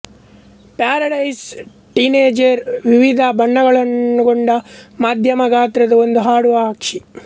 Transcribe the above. paradise tanager ವಿವಿಧ ಬಣ್ಣಗಳನ್ನೊಳಗೊಂಡ ಮಧ್ಯಮ ಗಾತ್ರದ ಒಂದು ಹಾಡುವ ಪಕ್ಷಿ